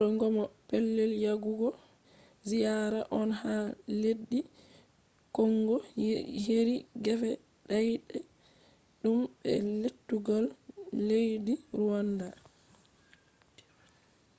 wuro goma pellel yagugo ziyara on ha leddi kongo heri gefe daid um be lettugal leddi ruwanda